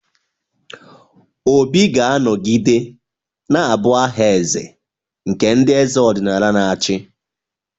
Obi ga-anọgide na-abụ aha eze nke ndị eze ọdịnala na-achị.